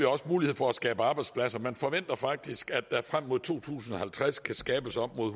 også mulighed for at skabe arbejdspladser man forventer faktisk at der frem mod to tusind og halvtreds kan skabes op mod